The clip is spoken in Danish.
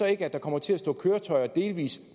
ikke at der kommer til at stå køretøjer delvis